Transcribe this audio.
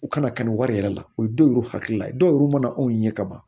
U kana kanu wari yɛrɛ la u ye don yɛruw hakili la ye dɔw yɛrɛ mana anw ɲɛ ka ban